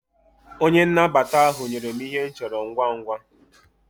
Onye nnabata ahu nyere m Ihe m choro ngwa ngwa